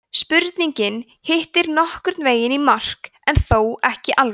spurningin hittir nokkurn veginn í mark en þó ekki alveg